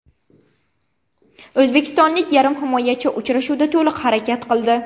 O‘zbekistonlik yarim himoyachi uchrashuvda to‘liq harakat qildi.